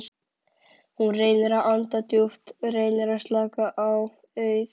Hún reynir að anda djúpt, reynir að slaka- auð